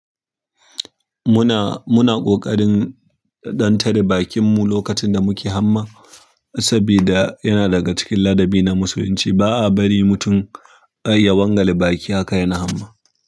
Muna ƙoƙarin ɗan tare bakin mu lokacin da muke hamma, saboda yana daga cikin ladabi na Musulunci ba a bari mutum ya wangale baki haka yana hamma.